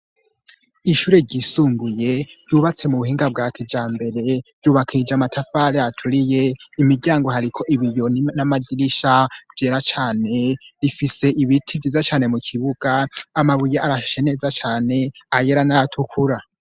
Ishure ryisumbuye ryubatse mu buhinga bwa kijambere ryubakishije amatafari aturiye, imiryango hariko ibiyo n'amadirisha vyera cane bifise ibiti vyiza cane mu kibuga, amabuye arashe neza cane ayera n'ayatukura.